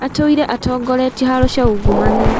Atũire atongoretie haro cia ungumania